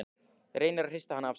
Reynir að hrista hana af sér.